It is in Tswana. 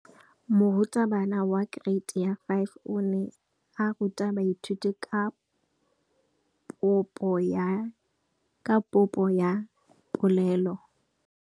Moratabana wa kereiti ya 5 o ne a ruta baithuti ka popô ya polelô.